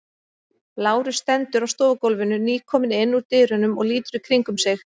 Lárus stendur á stofugólfinu, nýkominn inn úr dyrunum og lítur í kringum sig.